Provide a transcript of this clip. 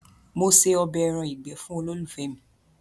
Mo ṣe ọbẹ̀ ẹran ìgbé fun olólùfẹ́ mi.